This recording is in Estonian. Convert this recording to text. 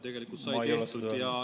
Tegelikult sai seda tehtud.